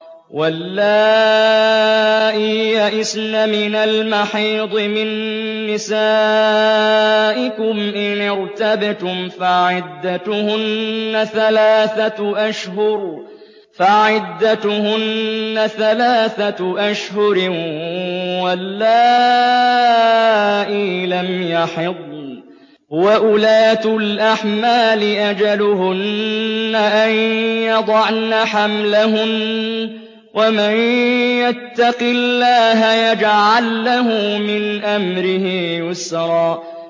وَاللَّائِي يَئِسْنَ مِنَ الْمَحِيضِ مِن نِّسَائِكُمْ إِنِ ارْتَبْتُمْ فَعِدَّتُهُنَّ ثَلَاثَةُ أَشْهُرٍ وَاللَّائِي لَمْ يَحِضْنَ ۚ وَأُولَاتُ الْأَحْمَالِ أَجَلُهُنَّ أَن يَضَعْنَ حَمْلَهُنَّ ۚ وَمَن يَتَّقِ اللَّهَ يَجْعَل لَّهُ مِنْ أَمْرِهِ يُسْرًا